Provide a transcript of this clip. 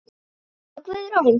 Laufey Guðrún.